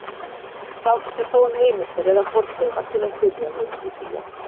Fátt er þó um heimildir eða fornleifar til að styðjast við í því efni.